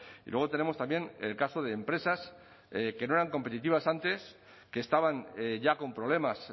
y luego tenemos también el caso de empresas que no eran competitivas antes que estaban ya con problemas